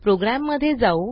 programme मध्ये जाऊ